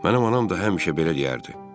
Mənim anam da həmişə belə deyərdi.